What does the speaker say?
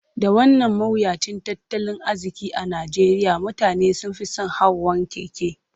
Da wannan mawuyacin tattalin arziki a Najeriya, mutane sun fi son hawan keke.